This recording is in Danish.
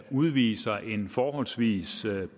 udviser en forholdsvis